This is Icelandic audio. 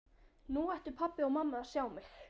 Nú ættu pabbi og mamma að sjá mig!